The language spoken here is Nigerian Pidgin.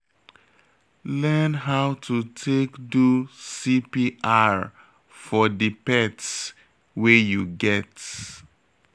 Learn how to take do CPR for di pets wey you get